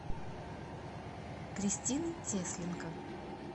кристины тесленко